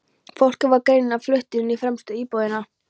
Fólkið var greinilega flutt inn í fremstu íbúðina.